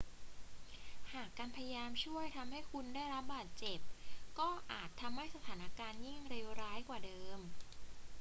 หากการพยายามช่วยทำให้คุณได้รับบาดเจ็บ ก็อาจทำให้สถานการณ์ยิ่งเลวร้ายกว่าเดิม